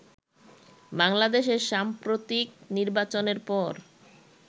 বাংলাদেশের সাম্প্রতিক নির্বাচনের পর